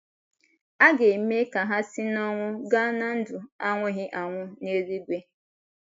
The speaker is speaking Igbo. A ga - eme ka ha si n’ọnwụ gaa ná ndụ anwụghị anwụ n’eluigwe.